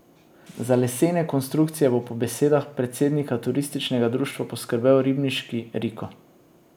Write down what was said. Za lesene konstrukcije bo po besedah predsednika turističnega društva poskrbel ribniški Riko.